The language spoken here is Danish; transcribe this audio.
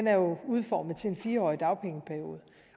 er udformet til en fire årig dagpengeperiode